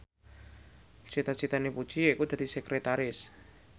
cita citane Puji yaiku dadi sekretaris